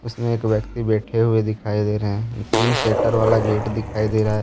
उसमें एक व्यक्ति बैठे हुए दिखाई दे रहे हैं तीन शटर वाला गेट दिखाई दे रहा है।